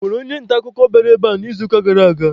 Ọ nwere onye nta akụkọ ọ bụla bịara ebe a n'izuụka gara aga?